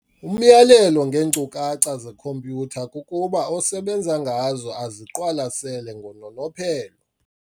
Umyalelo ngeeenkcukacha zekhompyutha kukuba osebenza ngazo aziqalasele ngononophelo.